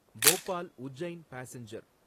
Bhopal Ujjain passenger